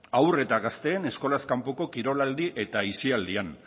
hau eta gazteen eskolaz kanpoko kirol aldi eta aisialdian